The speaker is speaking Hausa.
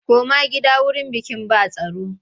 Koma gida wurin bikin ba tsaro!